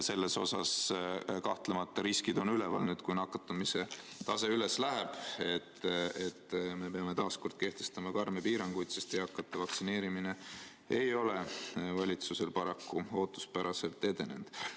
Selles osas on kahtlemata riskid üleval, et nüüd, kui nakatumise tase üles läheb, peame taas kord kehtestama karme piiranguid, sest eakate vaktsineerimine ei ole valitsusel paraku ootuspäraselt edenenud.